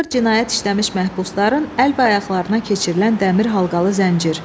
Ağır cinayət işləmiş məhbusların əl və ayaqlarına keçirilən dəmir halqalı zəncir.